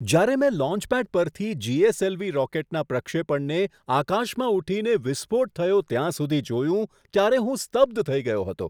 જ્યારે મેં લોન્ચપેડ પરથી જી. એસ. એલ. વી. રોકેટના પ્રક્ષેપણને આકાશમાં ઊઠીને વિસ્ફોટ થયો ત્યાં સુધી જોયું, ત્યારે હું સ્તબ્ધ થઈ ગયો હતો.